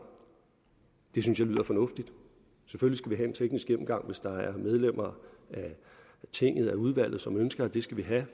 det synes jeg lyder fornuftigt selvfølgelig en teknisk gennemgang hvis der er medlemmer af tinget af udvalget som ønsker at vi skal have